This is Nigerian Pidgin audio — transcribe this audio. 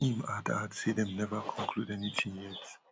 im add add say dem neva conclude anytin yet